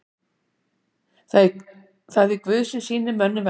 Það er Guð sem sýnir mönnum velþóknun.